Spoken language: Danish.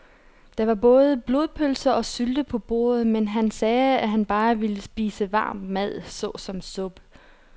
Der var både blodpølse og sylte på bordet, men han sagde, at han bare ville spise varm mad såsom suppe.